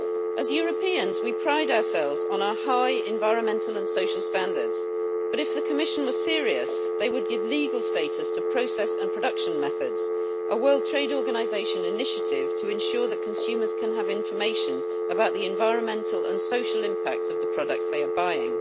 As Europeans, we pride ourselves on our high environmental and social standards, but if the Commission were serious, they would give legal status to Process and Production Methods, a World Trade Organisation initiative to ensure that consumers can have information about the environmental and social impacts of the products they are buying.